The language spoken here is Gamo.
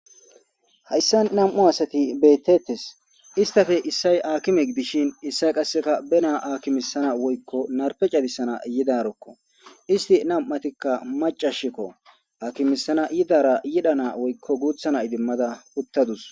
Hayssa nam'u asati beettettes istafe issay aakime gidishin issay qasseka benaa akimisana woykko narpe cadisana yidarokko isti nam'atikka macashikko akimisana yidara yidha na woykko guuthana idimmada uttadus.